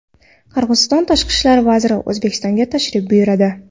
Qirg‘iziston tashqi ishlar vaziri O‘zbekistonga tashrif buyuradi.